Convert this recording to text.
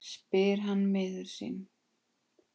spyr hann miður sín.